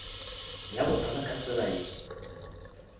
ya bohlola ka tsela ye